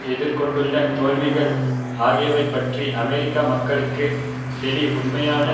எதிர் கொண்டுள்ள தோல்விகள் ஆகியவைபற்றி அமெரிக்க மக்களுக்கு செனி உண்மையான